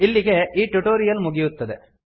ಇಲ್ಲಿಗೆ ಈ ಟ್ಯುಟೋರಿಯಲ್ ಮುಗಿಯುತ್ತದೆ